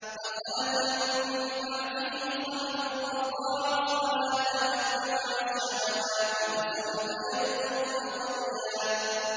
۞ فَخَلَفَ مِن بَعْدِهِمْ خَلْفٌ أَضَاعُوا الصَّلَاةَ وَاتَّبَعُوا الشَّهَوَاتِ ۖ فَسَوْفَ يَلْقَوْنَ غَيًّا